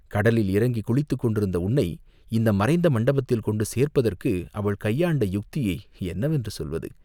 கடலில் இறங்கிக் குளித்துக் கொண்டிருந்த உன்னை இந்த மறைந்த மண்டபத்தில் கொண்டு சேர்ப்பதற்கு அவள் கையாண்ட யுக்தியை என்னவென்று சொல்வது?